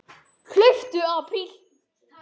Hlauptu apríl.